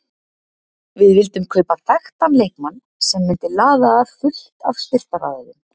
Við vildum kaupa þekktan leikmann sem myndi laða að fullt af styrktaraðilum.